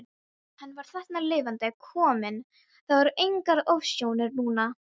Hann var þarna lifandi kominn, það voru engar ofsjónir núna!